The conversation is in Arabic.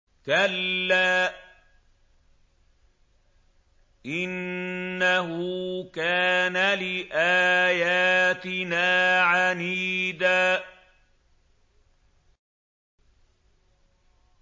كَلَّا ۖ إِنَّهُ كَانَ لِآيَاتِنَا عَنِيدًا